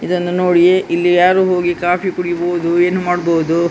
ಇದನ್ನು ನೋಡಿ ಇಲ್ಲಿ ಯಾರು ಹೋಗಿ ಕಾಫಿ ಕುಡಿಬಹುದು ಏನೂ ಮಾಡಬಹುದು.